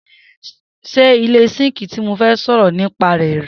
se ile sinki to mofe soro ni pa re re